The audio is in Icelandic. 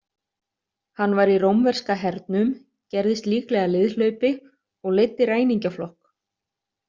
Hann var í rómverska hernum, gerðist líklega liðhlaupi og leiddi ræningjaflokk.